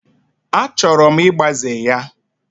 Achọrọ m ịgbaze ya.